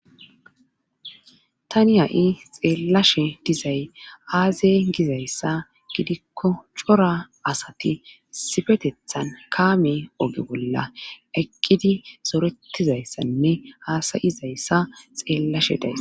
Tani ha7i xeellashe dizay aazey gizayssa gidikko cora asati sifetethan kaame oge bolla eqqidi soretizayssanne haasayizayssa xeellashe days.